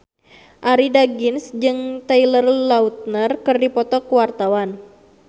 Arie Daginks jeung Taylor Lautner keur dipoto ku wartawan